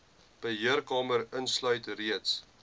beheerkamer insluit reeds